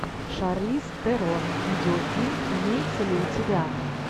шарлиз терон видеофильм имеется ли у тебя